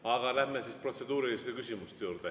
Aga lähme siis protseduuriliste küsimuste juurde.